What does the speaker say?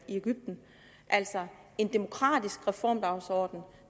egypten altså en demokratisk reformdagsorden